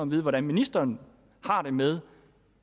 vide hvordan ministeren har det med